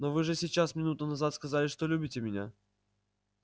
но вы же сейчас минуту назад сказали что любите меня